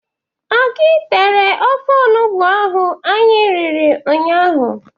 Ọ gị tere ofe onugbo ahụ anyị riri nnya ahụ?